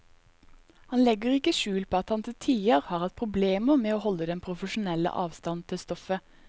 Han legger ikke skjul på at han til tider har hatt problemer med å holde den profesjonelle avstand til stoffet.